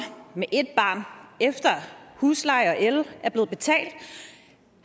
med ét barn efter husleje og el er blevet betalt